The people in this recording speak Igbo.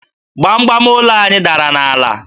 Gbamgbam ụlọ anyị dara n'ala